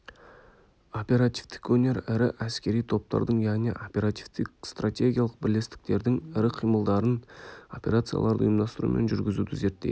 оперативтік өнер ірі әскери топтардың яғни оперативтік-стратегиялық бірлестіктердің ірі қимылдарын операцияларды ұйымдастыру мен жүргізуді зерттейді